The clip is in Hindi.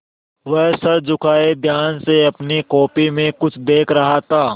वह सर झुकाये ध्यान से अपनी कॉपी में कुछ देख रहा था